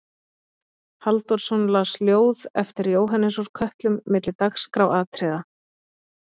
Halldórsson las ljóð eftir Jóhannes úr Kötlum milli dagskráratriða.